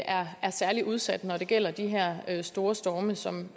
er særligt udsat når det gælder de her her store storme som